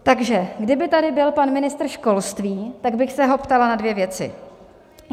Takže kdyby tady byl pan ministr školství, tak bych se ho ptala na dvě věci.